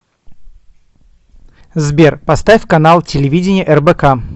сбер поставь канал телевидения рбк